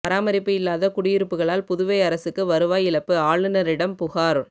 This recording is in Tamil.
பராமரிப்பு இல்லாத குடியிருப்புகளால் புதுவை அரசுக்கு வருவாய் இழப்பு ஆளுநரிடம் புகாா்